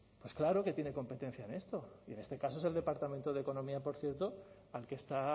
pues claro que tiene competencia en esto y en este caso es el departamento de economía por cierto al que está